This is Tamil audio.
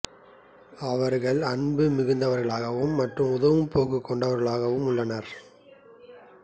அவர்கள் அன்பு மிகுந்தவர்களாகவும் மற்றும் உதவும் போக்கைக் கொண்டவர்களாகவும் உள்ளனர்